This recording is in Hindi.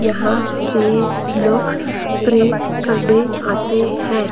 यहां पे लोग प्रे करने आते हैं।